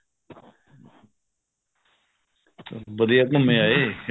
ਵਧੀਆ ਏ ਘੁੱਮੇ ਆਏ